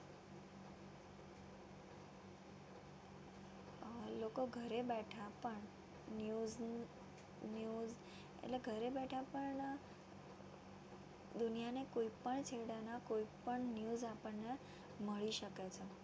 લોકો ઘરે બેઠા પણ news ની news એટલે ઘરે બેઠા પણ દુનિયાની કોઈ પણ છેડાના કોઈ પણ news આપણને મળી શકે છે